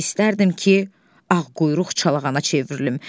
İstərdim ki, ağquyruq çalağana çevrilim.